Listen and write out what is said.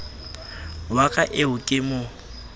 wa ka eo ke mo